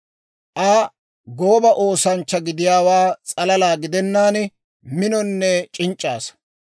Aa gooba oosanchcha gidiyaawaa s'alala gidennaan, minonne c'inc'c'a asaa.